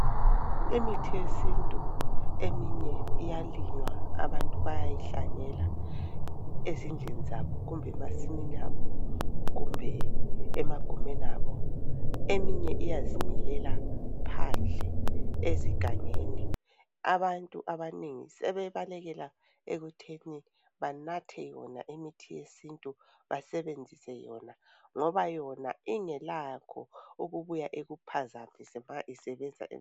Imithi yesintu eminye iyalinywa abantu bayayihlanyela ezindlini zabo kumbe emasimini abo kumbe emagumeni abo. Eminye iyazimilela phandle ezigangeni. Abantu abanengi sebebalekela ekutheni banathe yona imithi yesintu basebenzise yona ngoba yona ingelakho ebuya ikuphazamise ma isebenza